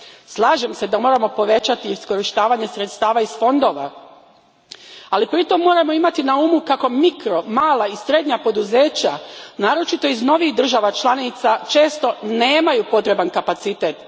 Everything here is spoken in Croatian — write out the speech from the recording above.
Slažem se da moramo povećati iskorištavanje sredstava iz fondova, ali pritom moramo imati na umu kako mikro, mala i srednja poduzeća, naročito iz novijih država članica, često nemaju potreban kapacitet.